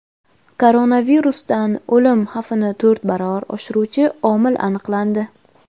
Koronavirusdan o‘lim xavfini to‘rt baravar oshiruvchi omil aniqlandi.